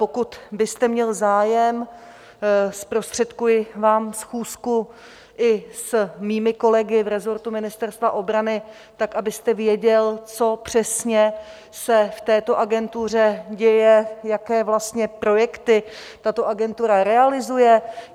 Pokud byste měl zájem, zprostředkuji vám schůzku i s mými kolegy v resortu Ministerstva obrany, tak abyste věděl, co přesně se v této agentuře děje, jaké vlastně projekty tato agentura realizuje.